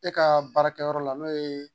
E kaa baarakɛyɔrɔ la n'o ye